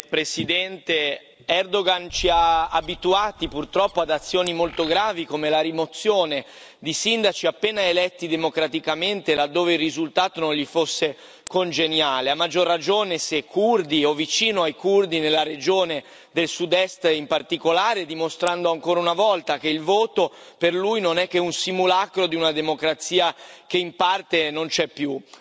Signor Presidente, onorevoli colleghi, Erdoğan ci ha abituati, purtroppo, ad azioni molto gravi, come la rimozione di sindaci appena eletti democraticamente, laddove il risultato non gli fosse congeniale, a maggior ragione se curdi o vicini ai curdi, nella regione del Sud Est in particolare, dimostrando ancora una volta che il voto per lui non è che un simulacro di una democrazia che in parte non c'è più.